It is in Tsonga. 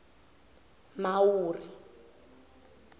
mhawuri